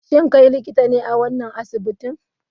Shin kai likitan ne a wannan asibitin?